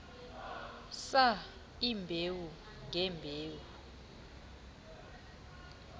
saa iimbewu ngeembewu